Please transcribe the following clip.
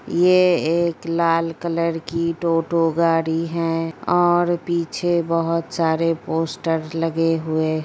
ये एक लाल कलर की टोटो गाड़ी हैं और पीछे बहोत सारे पोस्टर लगे हुए --